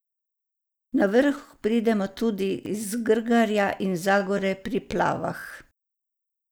Na vrh pridemo tudi iz Grgarja in Zagore pri Plavah.